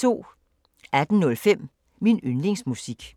18:05: Min yndlingsmusik